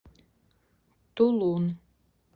тулун